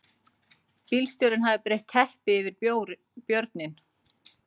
Bílstjórinn hafði breitt teppi yfir björninn